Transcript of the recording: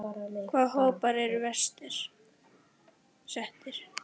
Hvaða hópar eru verst settir?